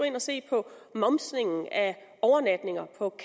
ind og se på momsningen af overnatninger på